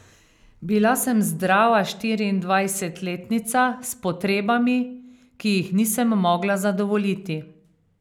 Bila sem zdrava štiriindvajsetletnica s potrebami, ki jih nisem mogla zadovoljiti.